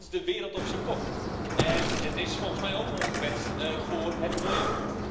Dat is de wereld op z'n kop en het is volgens mij ook ongewenst voor het milieu.